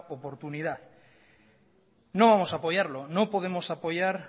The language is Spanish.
oportunidad no vamos a apoyarlo no podemos apoyar